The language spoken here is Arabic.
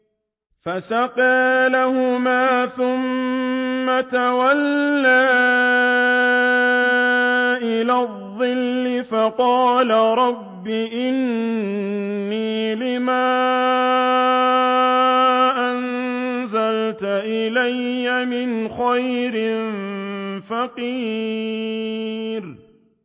فَسَقَىٰ لَهُمَا ثُمَّ تَوَلَّىٰ إِلَى الظِّلِّ فَقَالَ رَبِّ إِنِّي لِمَا أَنزَلْتَ إِلَيَّ مِنْ خَيْرٍ فَقِيرٌ